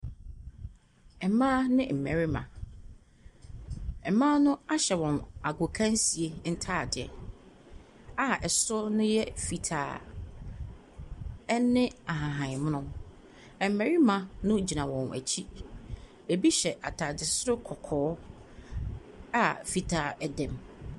Mmaa ne mmarima. Mmaa no ahyɛ wɔn gokansie ntadeɛ a soro no yɛ fitaa, ne ahahan mono. Mmarima no gyina wɔn akyi. Ebi hyɛ atade soro kɔkɔɔ a fitaa dam.